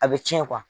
A bɛ cɛn